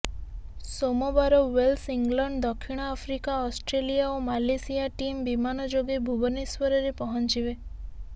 ସୋମବାର Wales England ଦକ୍ଷିଣଆଫ୍ରିକା Australia ଓ ମାଲେସିଆ ଟିମ୍ ବିମାନ ଯୋଗେ ଭୁବନେଶ୍ୱରରେ ପହଞ୍ଚିବେ